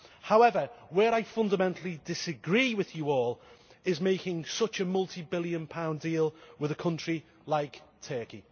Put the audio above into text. However, where I fundamentally disagree with you all, is in making such a multi-billion pound deal with a country like Turkey.